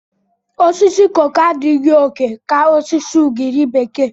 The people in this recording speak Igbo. Osisi koko adịghị oke ka osisi ugiri bekee.